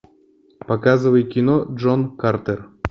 показывай кино джон картер